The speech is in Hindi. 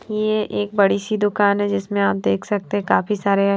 ये एक बड़ी सी दुकान है जिसमें आप देख सकते हैं काफी सारे --